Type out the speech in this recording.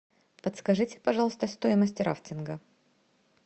подскажите пожалуйста стоимость рафтинга